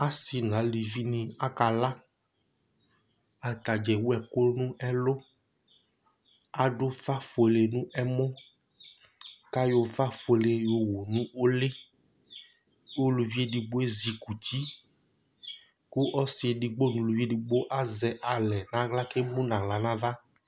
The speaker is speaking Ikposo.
Asi nʋ alʋvi ni aka la Atadza ewu ɛku nʋ ɛlu Adu ʋfa fʋele nʋ ɛmɔ kʋ ayɔ ʋfa fʋele yɔ wu nʋ ʋli Ʋlʋvi ɛdigbo ezikʋti kʋ ɔsi ɛdigbo nʋ ʋlʋvi ɛdigbo azɛ alɛ nʋ aɣla kʋ ɛmu nʋ aɣla nʋ ava